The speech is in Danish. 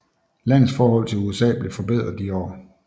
Landets forhold til USA blev forbedret i de år